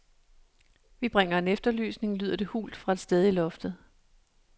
Vi bringer en efterlysning, lyder det hult fra et sted i loftet.